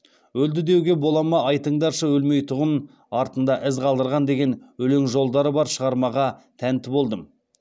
өлді деуге бола ма айтыңдаршы өлмейтұғын артында із қалдырған деген өлең жолдары бар шығармаға тәнті болдым